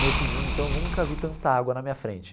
Nesse dia, então, eu nunca vi tanta água na minha frente.